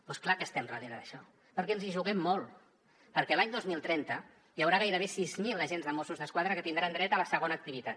doncs clar que estem darrere d’això perquè ens hi juguem molt perquè l’any dos mil trenta hi haurà gairebé sis mil agents de mossos d’esquadra que tindran dret a la segona activitat